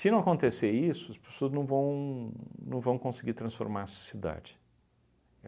não acontecer isso, as pessoas não vão não vão conseguir transformar a cidade.